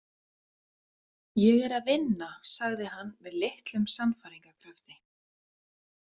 Ég er að vinna, sagði hann með litlum sannfæringarkrafti.